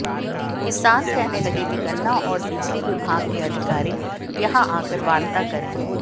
किसान कहने लगे कि गन्ना और बिजली विभाग के अधिकारी यहां आकर वार्ता करें